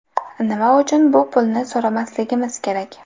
Nima uchun bu pulni so‘ramasligimiz kerak?